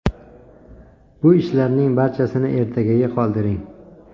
Bu ishlarning barchasini ertagaga qoldiring.